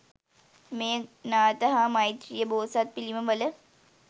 මෙය නාථ හා මෛත්‍රීය බෝසත් පිළිම වල